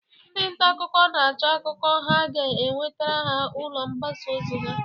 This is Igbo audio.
Ndị nta akụkọ na-acho akụkọ ha ga ewetere ụlọ mgbasa ozi ha.